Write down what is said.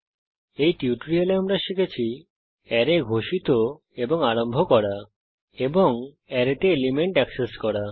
এই টিউটোরিয়ালে আমরা শিখেছি অ্যারে ঘোষিত এবং আরম্ভ করা এবং অ্যারেতে এলিমেন্ট অ্যাক্সেস করা